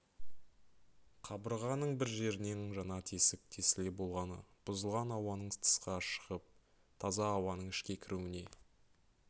қабырғаның бір жерінен жаңа тесік тесілсе болғаны бұзылған ауаның тысқа шығып таза ауаның ішке кіруіне